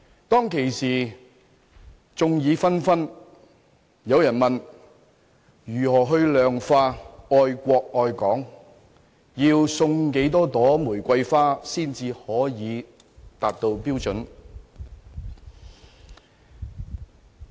當時，眾說紛紜，有人問：如何量化愛國愛港，要送多少朵玫瑰花才能達到標準？